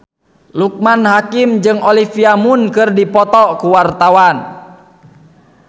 Loekman Hakim jeung Olivia Munn keur dipoto ku wartawan